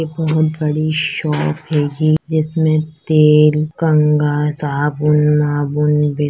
इक बहोत बड़ी सोप है ये जिस में तेल कंघा साबुन वाबुन --